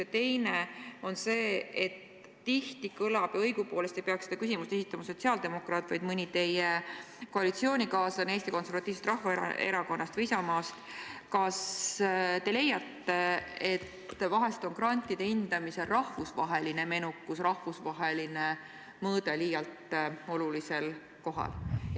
Ja teiseks – õigupoolest ei peaks seda küsimust esitama sotsiaaldemokraat, vaid mõni teie koalitsioonikaaslane Eesti Konservatiivsest Rahvaerakonnast või Isamaast –: kas te leiate, et grantide üle otsustamisel on rahvusvaheline menukus, rahvusvaheline mõõde liialt olulisel kohal?